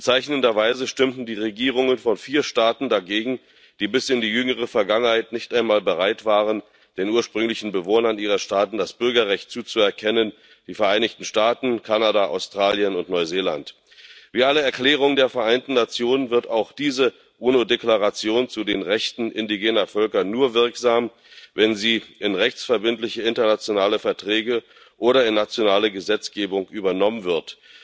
Bezeichnenderweise stimmten die Regierungen von vier Staaten dagegen, die bis in die jüngere Vergangenheit nicht einmal bereit waren, den ursprünglichen Bewohnern ihrer Staaten das Bürgerrecht zuzuerkennen die Vereinigten Staaten, Kanada, Australien und Neuseeland. Wie alle Erklärungen der Vereinten Nationen wird auch diese UNO Deklaration zu den Rechten indigener Völker nur wirksam, wenn sie in rechtsverbindliche internationale Verträge oder in nationale Gesetzgebung übernommen wird.